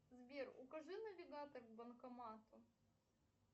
сбер укажи навигатор к банкомату